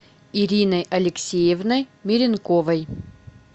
ириной алексеевной меренковой